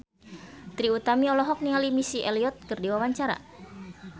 Trie Utami olohok ningali Missy Elliott keur diwawancara